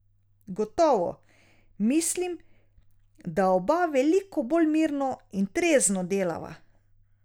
Gotovo, mislim, da oba veliko bolj mirno in trezno delava.